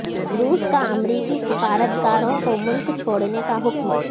روس کا امریکی سفارتکاروں کو ملک چھوڑنے کا حکم